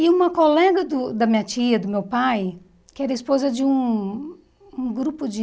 E uma colega do da minha tia, do meu pai, que era esposa de um um grupo de...